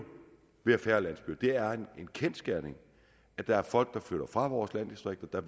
blive færre landsbyer det er en kendsgerning at der er folk der flytter fra vores landdistrikter og